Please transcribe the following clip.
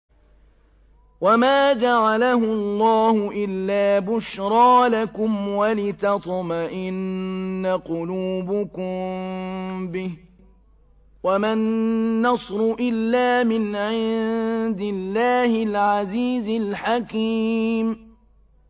وَمَا جَعَلَهُ اللَّهُ إِلَّا بُشْرَىٰ لَكُمْ وَلِتَطْمَئِنَّ قُلُوبُكُم بِهِ ۗ وَمَا النَّصْرُ إِلَّا مِنْ عِندِ اللَّهِ الْعَزِيزِ الْحَكِيمِ